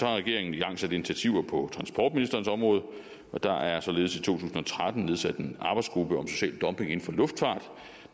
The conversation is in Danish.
har regeringen igangsat initiativer på transportministerens område og der er således i to tusind og tretten nedsat en arbejdsgruppe om social dumping inden for luftfart